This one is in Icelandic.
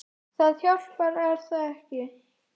Það hjálpar er það ekki?